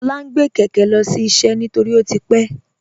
Lọla ǹ gbẹ̀ kẹkẹ̀ lọ́sí iṣẹ́ nítorí pé ó ti pẹ̀.